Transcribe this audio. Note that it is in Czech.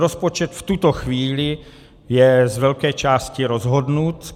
Rozpočet v tuto chvíli je z velké části rozhodnut.